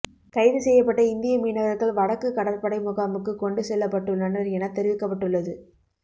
கைதுசெய்யப்பட்ட இந்திய மீனவர்கள் வடக்கு கடற்படை முகாமுக்குக் கொண்டு செல்லப்பட்டுள்ளனர் எனத் தெரிவிக்கப்பட்டுள்ளது